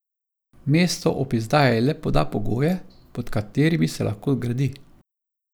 Mesto ob izdaji le poda pogoje, pod katerimi se lahko gradi.